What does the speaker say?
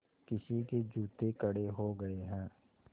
किसी के जूते कड़े हो गए हैं